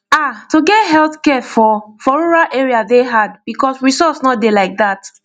ah to get healthcare for for rural area dey hard because resource no dey like that